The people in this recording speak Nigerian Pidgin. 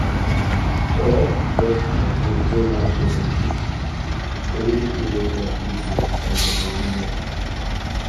correct birth control wey match your body fit really make life easier and your body rest